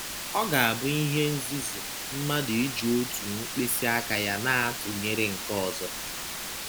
Ọ ga - abụ ihe nzuzu mmadụ iji otu mkpịsị aka ya na - atụnyere nke ọzọ.